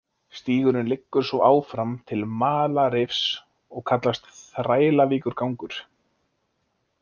Stígurinn liggur svo áfram til Malarrifs og kallast, Þrælavíkurgangur.